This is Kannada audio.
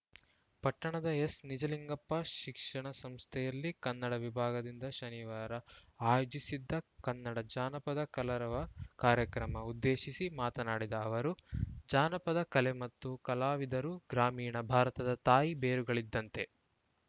ಪಟ್ಟಣದ ಎಸ್‌ನಿಜಲಿಂಗಪ್ಪ ಶಿಕ್ಷಣ ಸಂಸ್ಥೆಯಲ್ಲಿ ಕನ್ನಡ ವಿಭಾಗದಿಂದ ಶನಿವಾರ ಆಯೋಜಿಸಿದ್ದ ಕನ್ನಡ ಜಾನಪದ ಕಲರವ ಕಾರ್ಯಕ್ರಮ ಉದ್ದೇಶಿಸಿ ಮಾತನಾಡಿದ ಅವರು ಜಾನಪದ ಕಲೆ ಮತ್ತು ಕಲಾವಿದರು ಗ್ರಾಮೀಣ ಭಾರತದ ತಾಯಿ ಬೇರುಗಳಿದ್ದಂತೆ